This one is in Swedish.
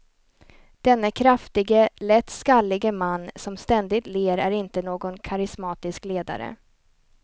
Denne kraftige, lätt skallige man som ständigt ler är inte någon karismatisk ledare.